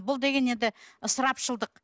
бұл деген енді ысырапшылдық